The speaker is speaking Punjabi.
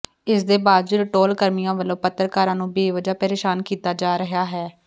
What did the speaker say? ਇਸ ਦੇ ਬਾਵਜੂਦ ਟੌਲ ਕਰਮੀਆਂ ਵੱਲੋਂ ਪੱਤਰਕਾਰਾਂ ਨੂੰ ਬੇਵਜ੍ਹਾ ਪ੍ਰੇਸ਼ਾਨ ਕੀਤਾ ਜਾ ਰਿਹਾ ਹੈ